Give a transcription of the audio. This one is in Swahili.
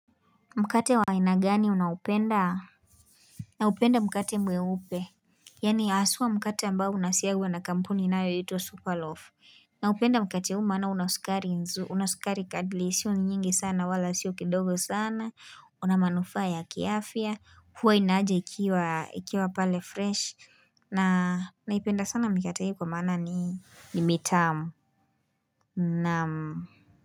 Mkate wa aina gani unaupenda? Naupenda mkate mweupe Yaani aswa mkate ambao unasiagwa na kampuni inayoitwa Superloaf. Naupenda mkate huu maana una sukari nzu una sukari kadili sio ni nyingi sana wala sio kidogo sana una manufaa ya kiafya huwa inaaja ikiwa ikiwa pale fresh na naipenda sana mikate hii kwa maana ni mitamu Naam.